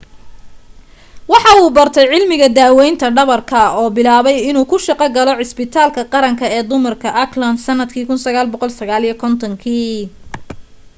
waxa uu bartay cilmiga daawaynta dhabarka oo bilaabay inuu ka shaqo galo cusbitaalka qaranka ee dumarka auckland sannadkii 1959